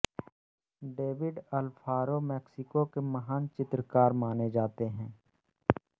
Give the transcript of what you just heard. David Alfaro Mexico के महान चित्रकार माने जाते हैं